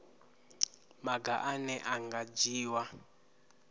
maga ane a nga dzhiiwa